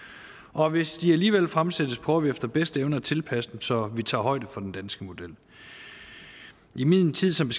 og hvis de alligevel fremsættes prøver vi efter bedste evne at tilpasse dem så de tager højde for den danske model i min tid som